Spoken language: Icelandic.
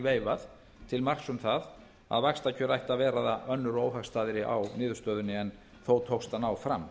veifað til marks um það að vaxtakjör ættu að verða önnur og óhagstæðari á niðurstöðunni en þó tókst að ná fram